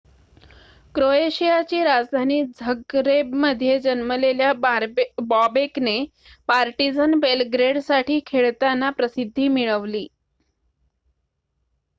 क्रोएशियाची राजधानी झगरेबमध्ये जन्मलेल्या बॉबेकने पार्टीझन बेलग्रेडसाठी खेळताना प्रसिद्धी मिळवली